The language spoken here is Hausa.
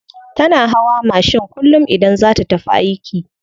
Tana hawa mashin kullum idan za ta tafi aiki.